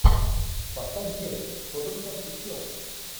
поставь дерби тоттенхэм и челси